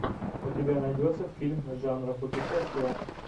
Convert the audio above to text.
у тебя найдется фильм жанра путешествия